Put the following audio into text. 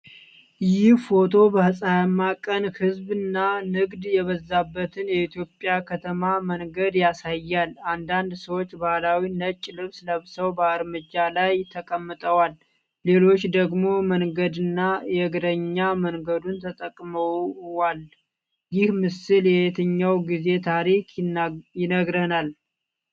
ይህ ፎቶ በፀሐያማ ቀን ሕዝብና ንግድ የበዛበትን የኢትዮጵያ ከተማ መንገድ ያሳያል። አንዳንድ ሰዎች ባህላዊ ነጭ ልብስ ለብሰው በእርምጃው ላይ ተቀምጠዋል፣ ሌሎች ደግሞ መንገድና የእግረኛ መንገዱን ተጠቅመዋል፤ ይህ ምስል የየትኛውን ጊዜ ታሪክ ይነግረናል?